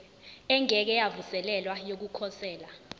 engeke yavuselelwa yokukhosela